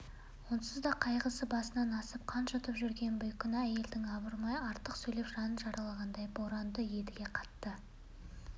онсыз да қайғысы басынан асып қан жұтып жүрген бейкүнә әйелді абайламай артық сөйлеп жанын жаралағанына боранды едіге қатты